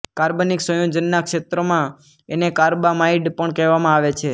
કાર્બનિક સંયોજનના ક્ષેત્રમાં એને કાર્બામાઇડ પણ કહેવામાં આવે છે